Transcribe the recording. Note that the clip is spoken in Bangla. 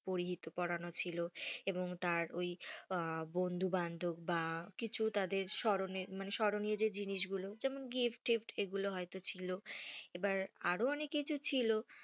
পরিহিত পরানো ছিল, এবং তার ওই বন্ধু বান্ধব বা কিছু তাদের সোরোনি~ মানে সরণি যে জিনিস গুলো gift টিফ্ট এগুলো হয়তো ছিল, এবার আরও অনেক কিছু ছিল,